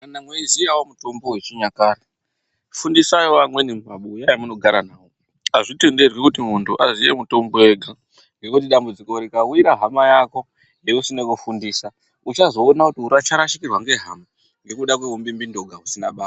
Kana weiziyawo mutombo wechinyakare fundisaiwo amweni mumabuya emunogara nawo azvitenderwi kuti muntu aziye mutombo ega ngekuti dambudziko rikawire hama yako yeusine kufundisa uchazoona kuti uracha ucharashikirwa ngehama ngekuda kweumbimbindoga husina basa.